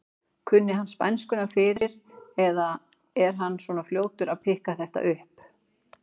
Kunni hann spænskuna fyrir eða er hann svona fljótur að pikka þetta upp?